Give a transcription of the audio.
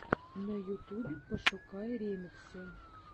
на ютубе пошукай ремиксы